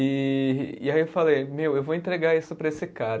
E e aí eu falei, meu, eu vou entregar isso para esse cara.